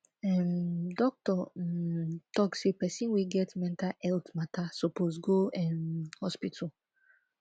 um doctor um talk sey pesin wey get mental healt mata suppose go um hospital